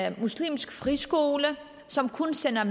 en muslimsk friskole som kun sender